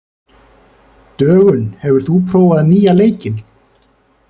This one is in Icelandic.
Dögun, hefur þú prófað nýja leikinn?